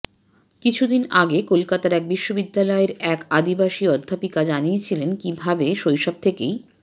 কিছু দিন আগে কলকাতার এক বিশ্ববিদ্যালয়ের এক আদিবাসী অধ্যাপিকা জানিয়েছিলেন কী ভাবে শৈশব থেকেই